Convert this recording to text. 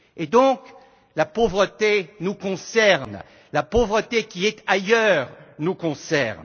Par conséquent, la pauvreté nous concerne. Et la pauvreté qui est ailleurs nous concerne.